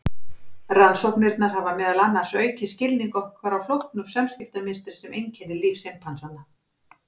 Rannsóknirnar hafa meðal annars aukið skilning okkar á flóknu samskiptamynstri sem einkennir líf simpansanna.